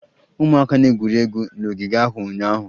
Ụmụaka na-egwuri egwu n'ogige ahụ ụnyaahụ